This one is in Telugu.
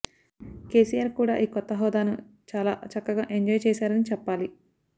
కెసిఆర్ కూడా ఈ కొత్త హోదాను చాల చక్కగా ఎంజాయ్ చేసారని చెప్పాలి